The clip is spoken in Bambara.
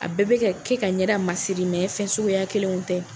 A bɛɛ bɛ ka ka kɛ ka ɲɛda masiri, mɛ fɛn suguya kelenw tɛ.